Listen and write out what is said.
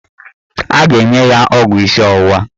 A ga-enye ya ọgwụ isi ọwụwa